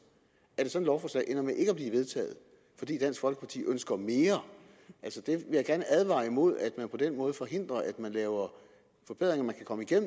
ender med ikke at blive vedtaget fordi dansk folkeparti ønsker mere jeg vil gerne advare imod at man på den måde forhindrer at vi laver forbedringer